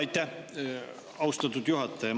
Aitäh, austatud juhataja!